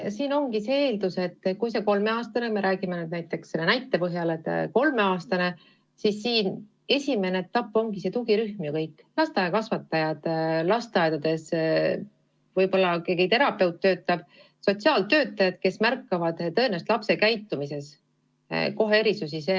Siin ongi see eeldus, et kui on tegemist näiteks kolmeaastase lapsega, siis tema puhul on esimene etapp see tugirühm: lasteaiakasvatajad, võib-olla lasteaias töötav terapeut ja sotsiaaltöötajad, kes tõenäoliselt kohe märkavad lapse käitumises erisusi.